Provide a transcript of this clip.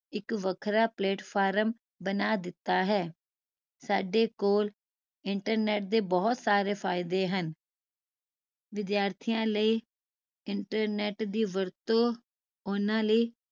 ਇਕ ਵੱਖਰਾ platform ਬਣਾ ਦਿੱਤਾ ਹੈ ਸਾਡੇ ਕੋ internet ਦੇ ਬਹੁਤ ਸਾਰੇ ਫਾਇਦੇ ਹਨ ਵਿਦਿਆਰਥੀਆਂ ਲਈ internet ਦੀ ਵਰਤੋਂ ਉਹਨਾਂ ਲਈ